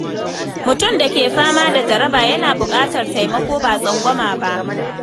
Mutum da ke fama da jaraba yana bukatar taimako ba tsangwama ba.